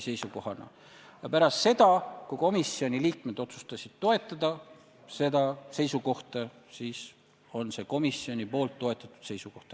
Ja pärast seda, kui komisjoni liikmed otsustasid seda seisukohta toetada, on see komisjoni toetatud seisukoht.